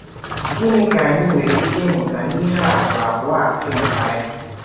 Gịnị ka anyị nwere ike ịmụta n’ihe atụ abụọ a dị na Baịbụl?